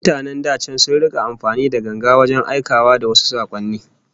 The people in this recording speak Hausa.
Mutanen da can sun rika amfani da ganga wajen aikawa da wasu sakonni